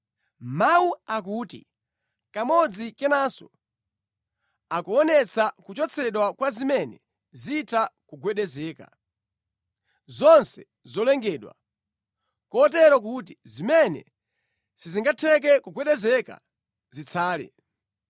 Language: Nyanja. Mawu akuti, “Kamodzi kenanso,” akuonetsa kuchotsedwa kwa zimene zitha kugwedezeka, zonse zolengedwa, kotero kuti zimene sizingatheke kugwedezeka zitsale.